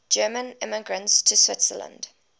german immigrants to switzerland